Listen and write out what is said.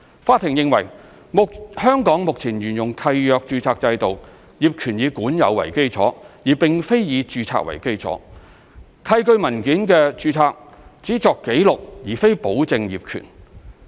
法庭認為，香港目前沿用契約註冊制度，業權以管有為基礎，而並非以註冊為基礎，契據文件的註冊只作記錄而非保證業權。